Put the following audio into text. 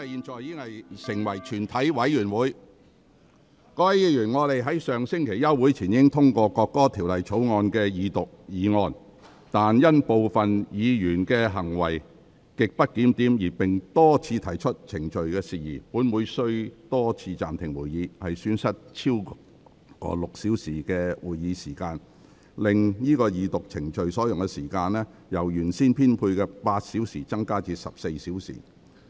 各位議員，本會在上星期休會前已通過《國歌條例草案》的二讀議案，但因部分議員行為極不檢點並多次提出程序事宜，本會須多次暫停會議，損失了超過6小時的會議時間，令整個二讀程序所用的時間，由原先編配的8小時增加至14小時。